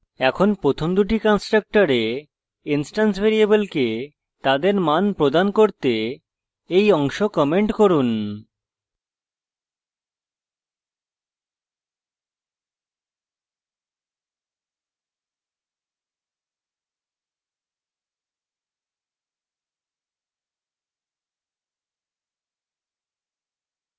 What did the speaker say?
এখন প্রথম দুটি constructors instance ভ্যারিয়েবলকে তাদের মান প্রদান করতে এই অংশ comment করুন